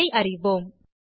அதை அறிவோம்